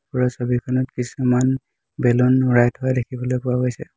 ওপৰৰ ছবিখনত কিছুমান বেলুন থোৱা দেখিবলৈ পোৱা গৈছে।